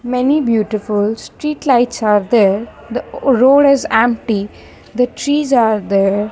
many beautiful street lights are there the road is empty the trees are there --